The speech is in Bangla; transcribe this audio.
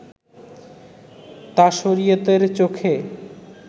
তা শরিয়তের চোখে